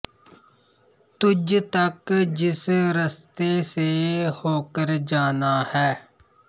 ਤੁਝ ਤਕ ਜਿਸ ਰਸਤੇ ਸੇ ਹੋਕਰ ਜਾਨਾ ਹੈ